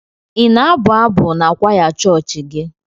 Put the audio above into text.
Ị na-abụ abụ n'kwaya chọọchị gị?